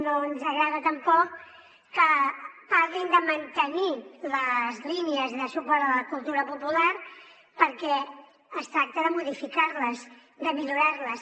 no ens agrada tampoc que parlin de mantenir les línies de suport a la cultura popular perquè es tracta de modificar les de millorar les